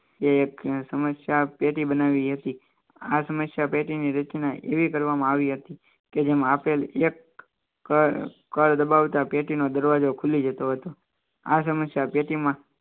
એક સમસ્યા પેટી બનાવી હતી આ સમસ્યા પેટી ની રચના એવી કરવામાં આવી હતી કે જેમાં આપેલ એક કાર્ડ દબાવતા પેટીનો દરવાજો ખુલી જતો હતો આ સમસ્યા પેટી